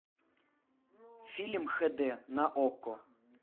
фильм хэ дэ на окко